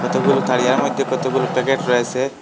কতগুলো তারিয়ার মইদ্যে কতগুলো প্যাকেট রয়েসে।